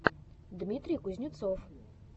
дмитрий кузнецов